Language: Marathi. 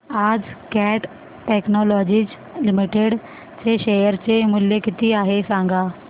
आज कॅट टेक्नोलॉजीज लिमिटेड चे शेअर चे मूल्य किती आहे सांगा